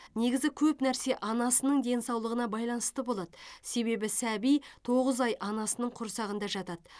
негізі көп нәрсе анасының денсаулығына байланысты болады себебі сәби тоғыз ай анасының құрсағында жатады